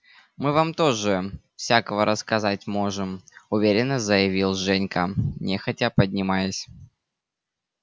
мы вам тоже всякого рассказать можем уверенно заявил женька нехотя поднимаясь